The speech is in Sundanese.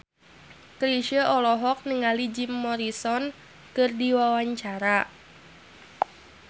Chrisye olohok ningali Jim Morrison keur diwawancara